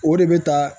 O de bɛ taa